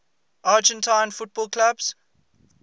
argentine football clubs